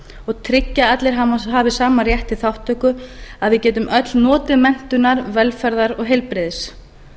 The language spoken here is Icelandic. og tryggja að allir hafi sama rétt til þátttöku að við getum öll notið menntunar velferðar og heilbrigðis